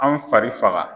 An fari faga